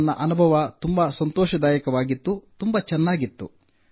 ನನ್ನ ಅನುಭವ ತುಂಬಾ ಸಂತೋಷದಾಯಕವಾಗಿತ್ತು ತುಂಬಾ ಚೆನ್ನಾಗಿತ್ತು